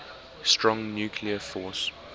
strong nuclear force